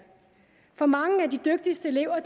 for mange af de dygtigste elever